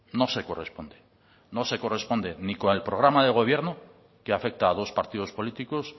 no se corresponde no se corresponde ni con el programa de gobierno que afecta a dos partidos políticos